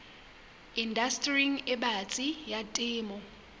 indastering e batsi ya temo